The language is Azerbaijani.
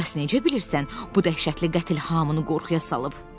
Bəs nəyə görə bilirsən, bu dəhşətli qətl hamını qorxuya salıb?